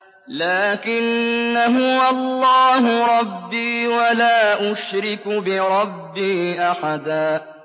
لَّٰكِنَّا هُوَ اللَّهُ رَبِّي وَلَا أُشْرِكُ بِرَبِّي أَحَدًا